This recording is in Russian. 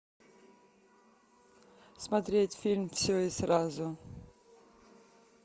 смотреть фильм все и сразу